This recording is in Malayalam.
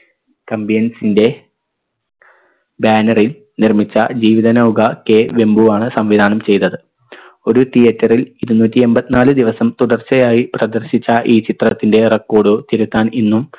തമ്പിയൻസിന്റെ banner ൽ നിർമ്മിച്ച ജീവിത നൗക K വെമ്പു ആണ് സംവിധാനം ചെയ്തത് ഒരു theatre ൽ ഇരുന്നൂറ്റി എമ്പത്തിനാല് ദിവസം തുടർച്ചയായി പ്രദർശിച്ച ഈ ചിത്രത്തിൻറെ record തിരുത്താൻ ഇന്നും